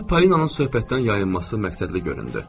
Mənə Palinanın söhbətdən yayılması məqsədli göründü.